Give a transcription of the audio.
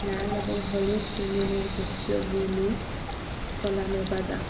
লাল এবং হলুদ বেলুনের গুচ্ছগুলো কলমে বাদা ।